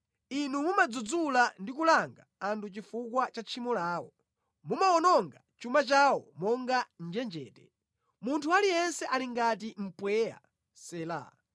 Inu mumadzudzula ndi kulanga anthu chifukwa cha tchimo lawo; mumawononga chuma chawo monga njenjete; munthu aliyense ali ngati mpweya. Sela